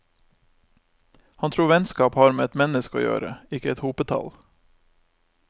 Han tror vennskap har med ett menneske å gjøre, ikke et hopetall.